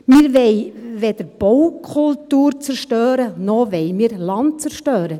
Wir wollen weder Baukultur zerstören, noch wollen wir Land zerstören.